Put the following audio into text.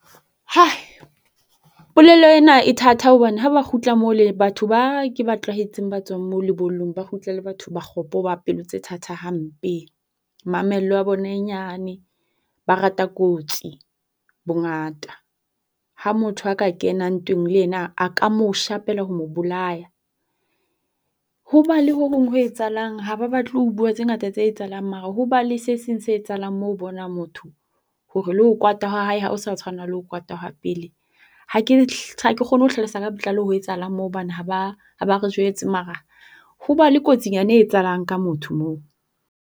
Polelo ena e thatha hobane ha ba kgutla batho ba ke ba tlwaetseng ba tswang mo lebollong ba kgutla e le batho ba kgopo ba pelo tse thatha hampe. Mamello ya bona e nyane. Ba rata kotsi bongata. Ha motho a ka kena ntweng le yena a ka mo shapela ho mo bolaya. ho ba le ho hong ho etsahalang ha ba batle ho bua tse ngata tse etsahalang mara ho ba le se seng se etsahalang mo o bona motho hore le ho kwata ha hae ha o sa tshwana le ho kwata ha pele. Ha ke ha ke kgone ho hlalosa ka botlalo ho etsahalang moo hobane ha ba ha ba re jwetse. Mara ho na le kotsinyana e etsahalang ka motho moo.